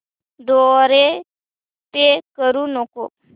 द्वारे पे करू नको